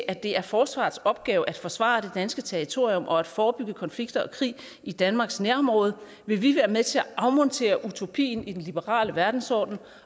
at det er forsvarets opgave at forsvare det danske territorium og at forebygge konflikter og krig i danmarks nærområde vil vi med til at afmontere utopien i den liberale verdensorden